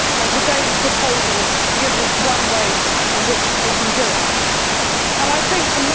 Today's proposal gives us one way in which we can do that.